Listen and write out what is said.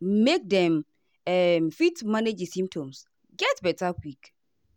make dem um fit manage di symptoms get beta quick.